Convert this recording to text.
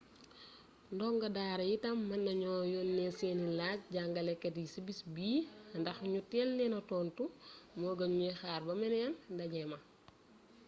ndongo daara yi itam mën nañu yónnee seeni laaj jàngalekat yi ci bis bi ndax ñu teel leen tontu moo gën ñuy xaar ba meneen ndaje ma